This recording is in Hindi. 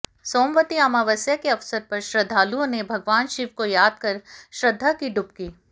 सोमवती अमावस्या के अवसर पर श्रद्धालुओं ने भगवान शिव को यादकर श्रद्धा की डुबकी